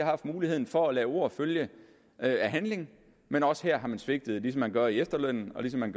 haft muligheden for at lade ord følge af handling men også her har man svigtet ligesom man gør efterlønnen og ligesom man